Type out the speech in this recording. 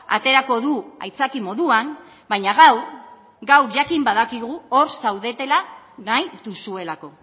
aterako du aitzaki moduan baina gaur gaur jakin badakigu hor zaudetela nahi duzuelako